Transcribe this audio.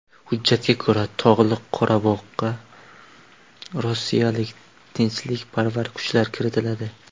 Hujjatga ko‘ra, Tog‘li Qorabog‘ga rossiyalik tinchlikparvar kuchlar kiritiladi.